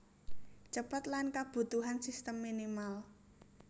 Cepet lan kabutuhan sistem minimal